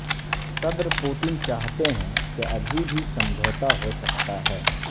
صدر پوتن چاہتے ہیں کہ ابھی بھی سمجھوتہ ہو سکتا ہے